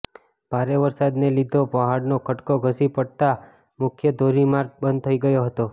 ભારે વરસાદને લીધો પહાડોનાં ખડકો ધસી પડતાં મુખ્ય ધોરીમાર્ગ બંધ થઈ ગયો હતો